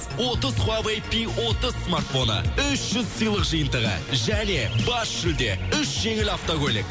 отыз хуавей пи отыз смартфоны үш жүз сыйлық жиынтығы және бас жүлде үш жеңіл автокөлік